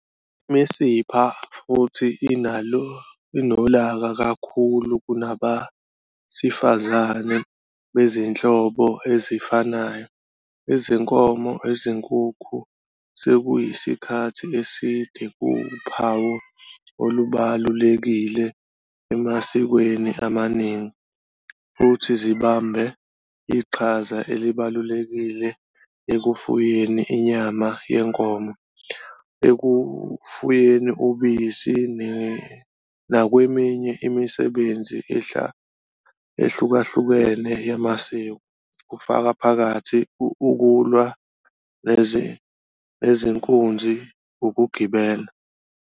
Imisipha futhi inolaka kakhulu kunabesifazane bezinhlobo ezifanayo, izinkomo, izinkunzi sekuyisikhathi eside kuwuphawu olubalulekile emasikweni amaningi, futhi zibambe iqhaza elibalulekile ekufuyeni inyama yenkomo, ekufuyeni ubisi, nakweminye imisebenzi ehlukahlukene yamasiko, kufaka phakathi ukulwa nenkunzi ukugibela.